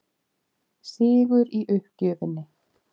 Sigur í uppgjöfinni.